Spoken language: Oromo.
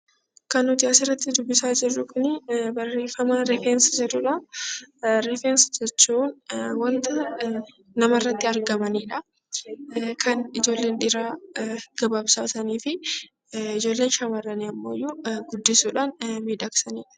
Kan nuti asirratti dubbisaa jirru kuni barreeffama 'rifeensa' jedhuu dha. Rifeensa jechuun wanta nama irratti argamanii dha. Kan ijoolleen dhiiraa gabaabsatanii fi ijoolleen shamarranii ammoo guddisuudhaan miidhagsanii dha.